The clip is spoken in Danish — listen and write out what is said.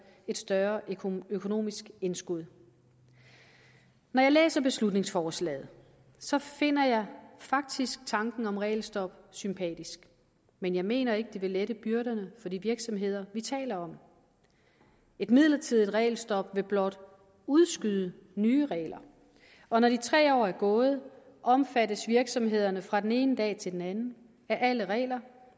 et større økonomisk indskud når jeg læser beslutningsforslaget finder jeg faktisk tanken om regelstop sympatisk men jeg mener ikke det vil lette byrderne for de virksomheder vi taler om et midlertidigt regelstop vil blot udskyde nye regler og når de tre år er gået omfattes virksomhederne fra den ene dag til den anden af alle regler